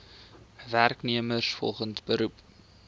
werknemers volgens beroep